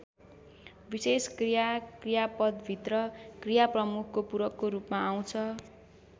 विशेषण क्रिया क्रियापदभित्र क्रिया प्रमुखको पूरकको रूपमा आउँछ।